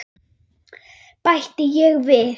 bætti ég við.